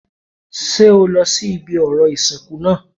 Ṣé o lọ sí ibi orò ìsìnkú náà